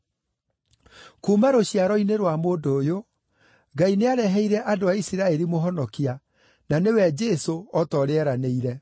“Kuuma rũciaro-inĩ rwa mũndũ ũyũ, Ngai nĩareheire andũ a Isiraeli Mũhonokia, na nĩwe Jesũ, o ta ũrĩa eeranĩire.